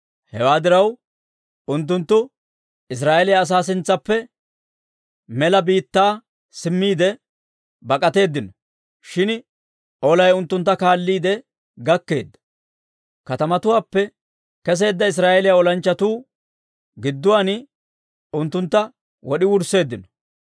Hewaa diraw, unttunttu Israa'eeliyaa asaa sintsaappe mela biittaa simmiide bak'atteedino; shin olay unttuntta kaalliide gakkeedda. Katamatuwaappe keseedda Israa'eeliyaa olanchchatuu gidduwaan unttuntta wod'i wursseeddino.